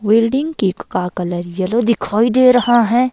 Welding cake का colour yellow दिखाई दे रहा है।